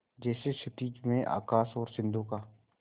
जैसे क्षितिज में आकाश और सिंधु का